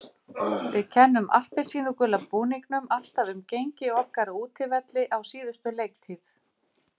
Við kennum appelsínugula búningnum alltaf um gengi okkar á útivelli á síðustu leiktíð.